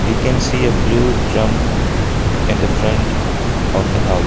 We can see a blue drum in the front of the hou --